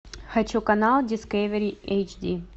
хочу канал дискавери эйч ди